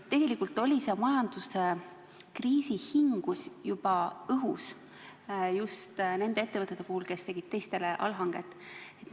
Tegelikult oli majanduskriisi hingus juba õhus just nende ettevõtete puhul, kes tegid teistele allhanget.